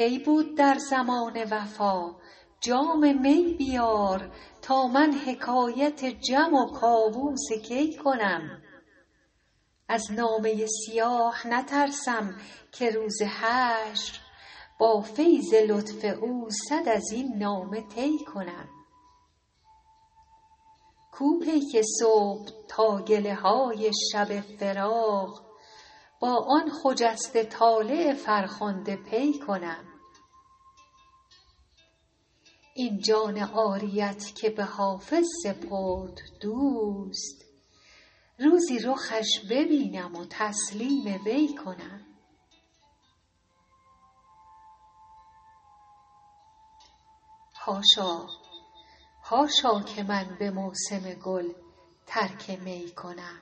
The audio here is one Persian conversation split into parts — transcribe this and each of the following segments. حاشا که من به موسم گل ترک می کنم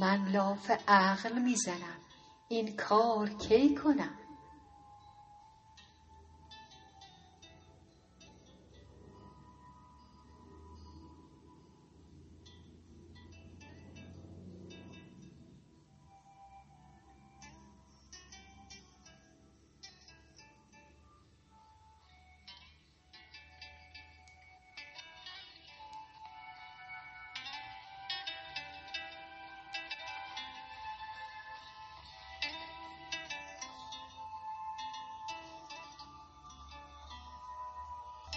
من لاف عقل می زنم این کار کی کنم مطرب کجاست تا همه محصول زهد و علم در کار چنگ و بربط و آواز نی کنم از قیل و قال مدرسه حالی دلم گرفت یک چند نیز خدمت معشوق و می کنم کی بود در زمانه وفا جام می بیار تا من حکایت جم و کاووس کی کنم از نامه سیاه نترسم که روز حشر با فیض لطف او صد از این نامه طی کنم کو پیک صبح تا گله های شب فراق با آن خجسته طالع فرخنده پی کنم این جان عاریت که به حافظ سپرد دوست روزی رخش ببینم و تسلیم وی کنم